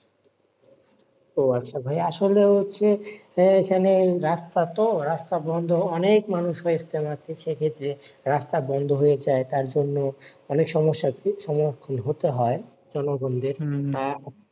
আসলে হচ্ছে, যে এইখানে রাস্তা তো রাস্তা বন্ধ। অনেক মানুষ হয় ইজতেমা তে সে ক্ষেত্রে রাস্তা বন্ধ হয়ে যায় তার জন্য অনেক সমস্যা সমস্যার সম্মুখীন হতে হয় জনগণদের।